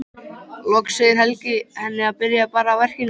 Loks segir Helgi henni að byrja bara á verkinu.